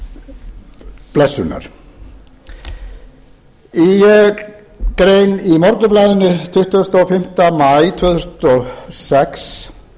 í grein í morgunblaðinu tuttugasta og fimmta maí tvö þúsund og sex